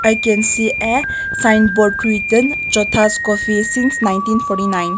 i can see a sign board written kothas coffee since nineteen forty nine.